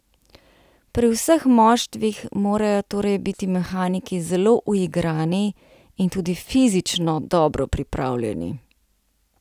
Pri vseh moštvih morajo torej biti mehaniki zelo uigrani in tudi fizično dobro pripravljeni.